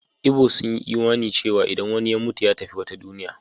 Igbo sun yi imanin cewa idan wani ya mutu, ya tafi wata duniya.